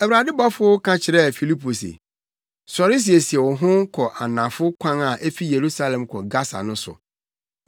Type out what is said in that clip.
Awurade bɔfo ka kyerɛɛ Filipo se, “Sɔre siesie wo ho kɔ anafo kwan a efi Yerusalem kɔ Gasa no so.”